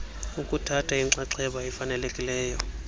ukuthatha inxaxheba efanelekileyo